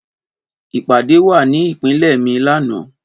Ìpàdé wà ní ìpínlẹ̀ mi lánàá